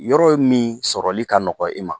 Yɔrɔ min sɔrɔli ka nɔgɔn i ma